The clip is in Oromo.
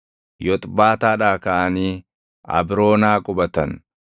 Yoxbaataadhaa kaʼanii Abroonaa qubatan.